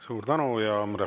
Suur tänu!